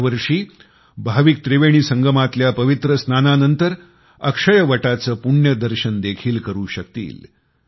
यावर्षी भाविक त्रिवेणी संगमातल्या पवित्र स्नानानंतर अक्षयवटाचे पुण्यदर्शन देखील करु शकेल